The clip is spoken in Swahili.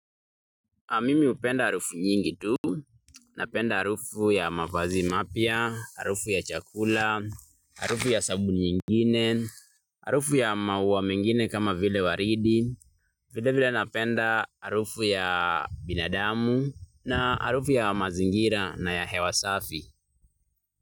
Mimi hupenda harufu nyingi tu, napenda harufu ya mavazi mapya, harufu ya chakula, harufu ya sabuni nyingine, harufu ya maua mengine kama vile waridi, vile vile napenda harufu ya binadamu na harufu ya mazingira na ya hewa safi.